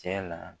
Cɛ na